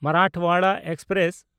Marathwada express